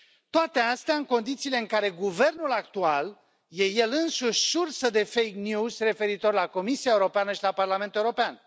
Toate astea în condițiile în care guvernul actual este el însuși sursă de referitor la Comisia Europeană și la Parlamentul European.